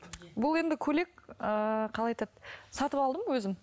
бұл енді көйлек ыыы қалай айтады сатып алдым өзім